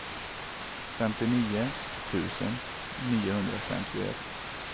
femtionio tusen niohundrafemtioett